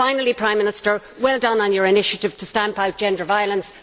Finally, Prime Minister, well done on your initiative to stamp out gender violence